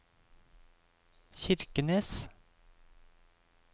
Kirkenes